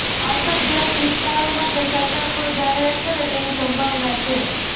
અછતગ્રસ્ત વિસ્તારો માટે સરકાર કોઈ જાહેરાત કરે તેવી સંભાવના છે